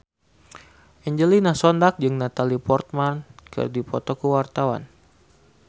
Angelina Sondakh jeung Natalie Portman keur dipoto ku wartawan